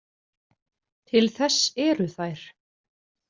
Til þess eru þær.